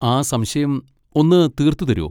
ആ സംശയം ഒന്ന് തീർത്ത് തരോ?